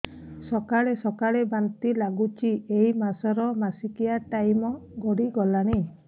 ସକାଳେ ସକାଳେ ବାନ୍ତି ଲାଗୁଚି ଏଇ ମାସ ର ମାସିକିଆ ଟାଇମ ଗଡ଼ି ଗଲାଣି